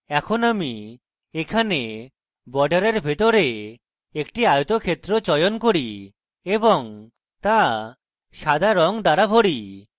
এখন আমি এখানে বর্ডারের ভিতরে একটি আয়তক্ষেত্র চয়ন করি এবং so সাদা রঙ দ্বারা ভরি